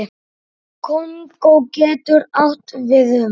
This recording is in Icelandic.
Kongó getur átt við um